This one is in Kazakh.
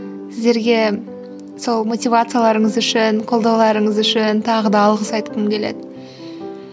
сіздерге сол мотивацияларыңыз үшін қолдауларыңыз үшін тағы да алғыс айтқым келеді